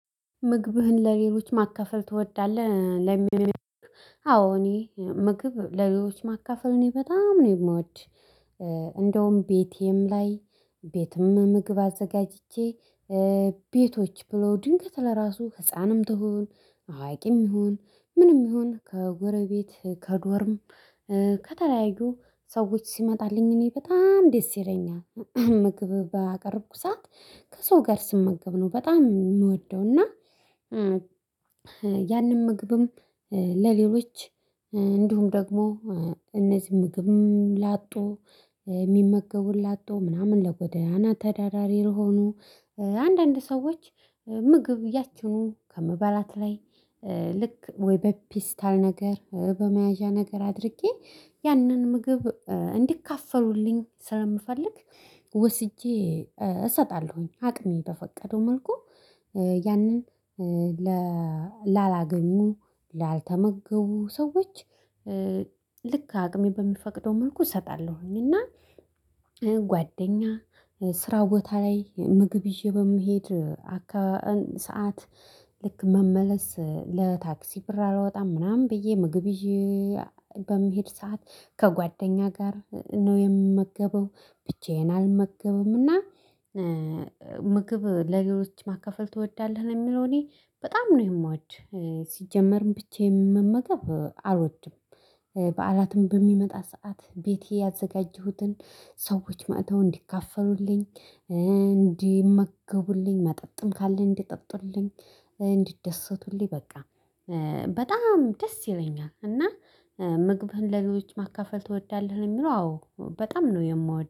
ምግብህን ለሌሎች ማካፈል ትወዳለህ? ለሚል አዎ እኔ ምግብ ለሌሎች ማካፈል እኔ በጣም ነው የምወድ። እንደውም ቤቴም ላይ ቤትም ምግብ አዘጋጅቼ ቤቶች ብለው ድንገት ለራሱ ህፃንም ትሁን አዋቂም ይሁን ምንም ይሁን ከጎረቤት ከዶርም ከተለያዩ ሰዎች ሲመጣልኝ እኔ በጣም ደስ ይለኛል ምግብ ባቀረብኩ ሰዓት ከሰው ጋር ስመገብ ነው በጣም ምወደው እና ያንን ምግብም ለሌሎች እንዲሁም ደግሞ እነዚህ ምግብ ላጡ ሚመገቡ ላጡ ምናምን ለጎዳና ተዳዳሪ ለሆኑ አንዳንድ ሰዎች ምግብ ያችኑ ከምበላት ላይ ልክ ወይ በፔስታል ነገር በመያዣ ነገር አድርጌ ያንን ምግብ እንዲካፈሉልኝ ስለምፈልግ ወስጄ እሰጣለሁኝ። አቅሜ በፈቀደው መልኩ ያንን ላላገኙ ላልተመገቡ ሰዎች ልክ አቅሜ በሚፈቅደው መልኩ ሰጣለሁኝ። እና ጓደኛ ስራ ቦታ ላይ ምግብ ይዤ በምሄድ አካባቢ ሰዓት ልክ መመለስ ለታክሲ ብር አላወጣም ምናምን ብዬ ምግብ ይዤ በምሄድ ሰዓት ከጓደኛ ጋር ነው የምመገበው ብቻዬን አልመገብም። እና ምግብ ለሌሎች ማካፈል ትወዳለህ? ለሚለው እኔ በጣም ነው የምወድ። ሲጀመርም ብቻዬን መመገብ አልወድም። በዓላትም በሚመጣ ሰዓት ቤቴ ያዘጋጀሁትን ሰዎች መጥተው እንዲካፈሉልኝ እንዲመገቡልኝ መጠጥም ካለኝ እንዲጠጡልኝ እንዲደሰቱልኝ በቃ በጣም ደስ ይለኛል። እና ምግብህን ለሌሎች ማካፈል ትወዳለህ? ለሚለው አዎ በጣም ነው የምወድ።